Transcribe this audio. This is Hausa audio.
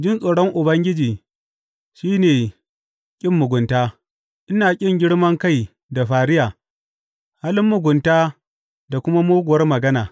Jin tsoron Ubangiji shi ne ƙin mugunta; ina ƙin girman kai da fariya, halin mugunta da kuma muguwar magana.